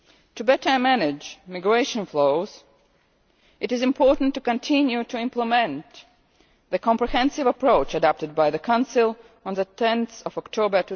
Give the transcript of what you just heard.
To better manage migration flows it is important to continue to implement the comprehensive approach adopted by the Council on 10